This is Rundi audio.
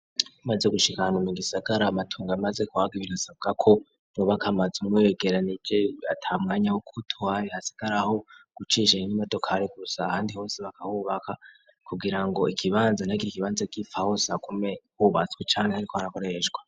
Maze gushika ahantu mu Gisagara amatongo amaze kuhaga ibirasabwa ko bubaka amazu begeranije ata mwanya wokuhasigara aho gucisha imodokare gusa handi hose bakahubaka kugira ngo ikibanza ntihagire ikibanza gipfa hagume hubatswe cankr hariko harakoreshwa.